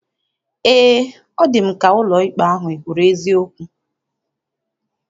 Eé, ọ dị m ka ọkaikpe ahụ ekwuru eziokwu.